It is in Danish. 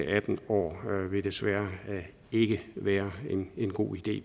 atten år vil desværre ikke være en god idé